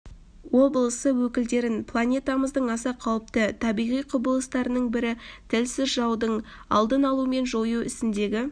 облысы өкілдерін планетамыздың аса қауіпті табиғи құбылыстарының бірі тілсіз жаудың алдын алу мен жою ісіндегі